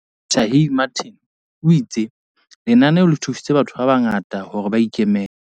Shaheed Martin, o itse lenaneo le thusitse batho ba bangata hore ba ikemele.